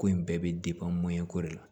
Ko in bɛɛ bɛ mɔyɛnko de la